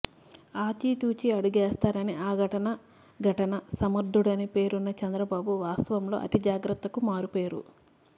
ఆచితూచి అడుగేస్తారని అఘటన ఘటనా సమర్థుడని పేరున్న చంద్రబాబు వాస్తవంలో అతిజాగ్రత్తకు మారుపేరు